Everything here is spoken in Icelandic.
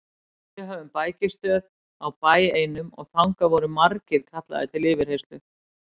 Við höfðum bækistöð á bæ einum og þangað voru margir kallaðir til yfirheyrslu.